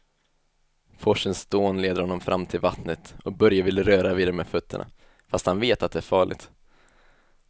Forsens dån leder honom fram till vattnet och Börje vill röra vid det med fötterna, fast han vet att det är farligt.